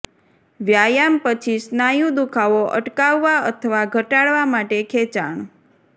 વ્યાયામ પછી સ્નાયુ દુઃખાવો અટકાવવા અથવા ઘટાડવા માટે ખેંચાણ